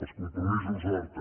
els compromisos d’horta